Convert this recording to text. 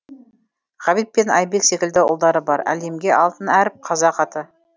ғабит пен айбек секілді ұлдары бар әлемге алтын әріп қазақ аты